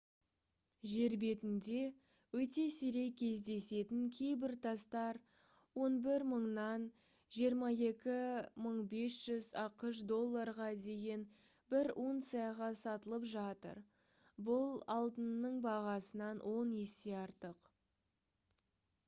жер бетінде өте сирек кездесетін кейбір тастар 11000-нан 22500 ақш долларға дейін бір унцияға сатылып жатыр бұл алтынның бағасынан он есе артық